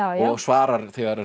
og svarar